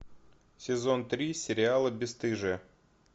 сезон три сериала бесстыжие